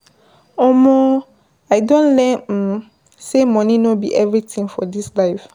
Omo, I don learn um sey money no be everytin for dis life.